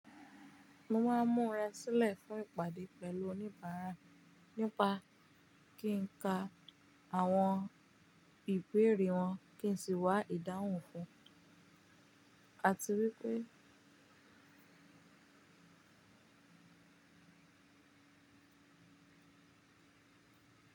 Mo máa ń mú ra sílẹ̀ fún ìpàdé pẹ̀lú oníbàárà nípa kí n ka àwọn ìbéèrè wọn kí n sì wá ìdáhùn fún. A ti rí pé.